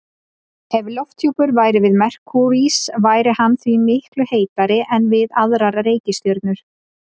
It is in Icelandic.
Ef lofthjúpur væri við Merkúríus væri hann því miklu heitari en við aðrar reikistjörnur.